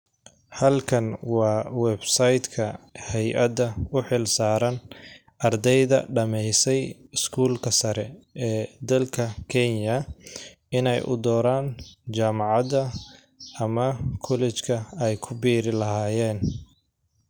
Halkan waa website ka hayada u xil saaran ardeyda dhameysay skuulka sare ee dalka kenya ineey u doraan jamcada ama collrge ka ay ku biiri lahayeen .